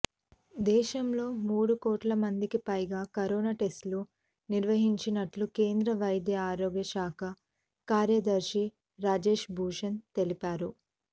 దేశంలో మూడు కోట్ల మందికి పైగా కరోనా టెస్టులు నిర్వహించినట్టు కేంద్ర వైద్య ఆరోగ్యశాఖ కార్యదర్శి రాజేశ్ భూషణ్ తెలిపారు